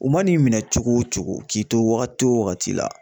U man'i minɛ cogo o cogo k'i to wagati o wagati la